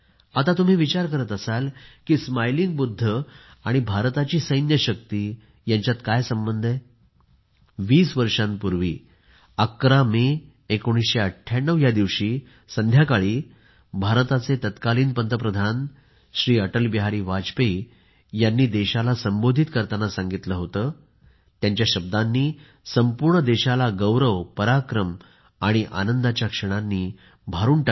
आता तुम्ही विचार करत असाल की स्मायलिंग बुद्ध आणि भारताची सैन्य शक्ती यांच्यात काय संबंध आहे 20 वर्षांपूर्वी 11 मे 1998 रोजी संध्याकाळी भारताचे तत्कालीन पंतप्रधान श्री अटलबिहारी वाजपेयी यांनी देशाला संबोधित करताना सांगिलते होते त्यांच्या शब्दांनी संपूर्ण देशाला गौरवपराक्रम आणि आनंदाच्या क्षणांनी भरले